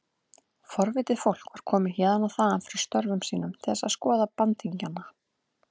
Forvitið fólk var komið héðan og þaðan frá störfum sínum til þess að skoða bandingjana.